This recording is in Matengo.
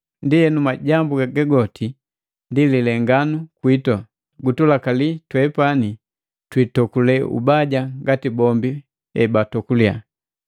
Ndienu majambu haga goti ndi lilenganu kwitu, gutulakali twepani twitokule ubaja ngati bombi batokule.